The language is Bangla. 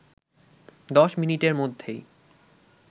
১০ মিনিটের মধ্যেই